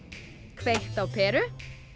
kveikt á peru